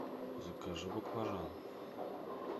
закажи баклажан